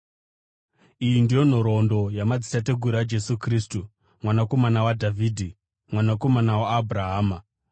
Iyi ndiyo nhoroondo yamadzitateguru aJesu Kristu mwanakomana waDhavhidhi, mwanakomana waAbhurahama: